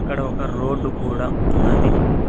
అక్కడ ఒక రోడ్డు కూడా ఉన్నది.